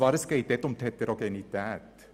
Es geht um die Heterogenität.